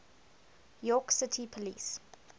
york city police